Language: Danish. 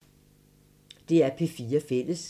DR P4 Fælles